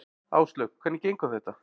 Áslaug: Hvernig gengur þetta?